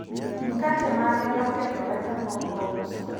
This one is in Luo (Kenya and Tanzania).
mkate mage nokethore kapok ouso